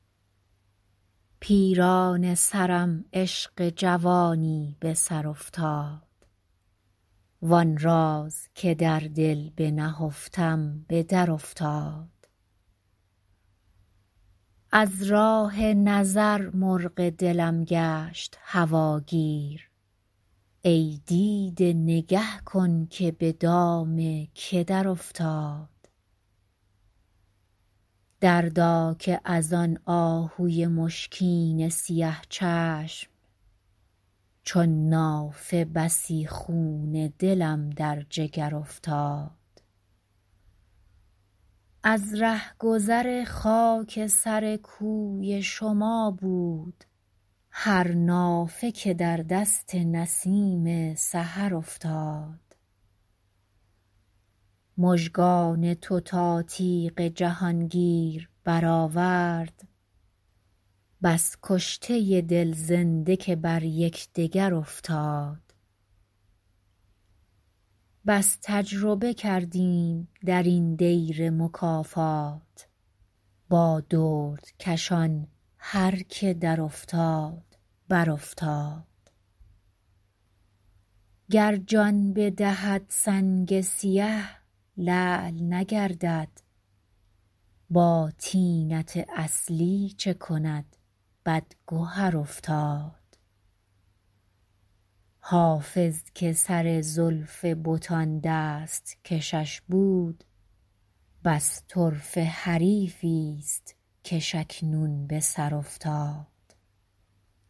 پیرانه سرم عشق جوانی به سر افتاد وآن راز که در دل بنهفتم به درافتاد از راه نظر مرغ دلم گشت هواگیر ای دیده نگه کن که به دام که درافتاد دردا که از آن آهوی مشکین سیه چشم چون نافه بسی خون دلم در جگر افتاد از رهگذر خاک سر کوی شما بود هر نافه که در دست نسیم سحر افتاد مژگان تو تا تیغ جهانگیر برآورد بس کشته دل زنده که بر یکدگر افتاد بس تجربه کردیم در این دیر مکافات با دردکشان هر که درافتاد برافتاد گر جان بدهد سنگ سیه لعل نگردد با طینت اصلی چه کند بدگهر افتاد حافظ که سر زلف بتان دست کشش بود بس طرفه حریفی ست کش اکنون به سر افتاد